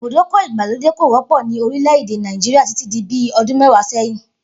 Ibùdókò̩ ìgbàlódè kò wó̩pò̩ ní orílè̩-èdè Nàìjíríà títí di bí o̩dún mé̩wàá sé̩yìn